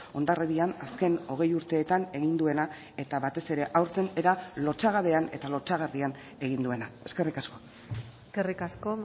hondarribian azken hogei urteetan egin duena eta batez ere aurten era lotsagabean eta lotsagarrian egin duena eskerrik asko eskerrik asko